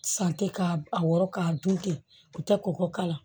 San tɛ k'a wɔrɔ k'a dun ten u tɛ kɔkɔ k'a la